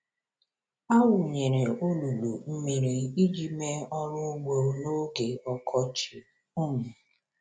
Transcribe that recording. A wụnyere olulu mmiri iji mee ọrụ ugbo n’oge ọkọchị. um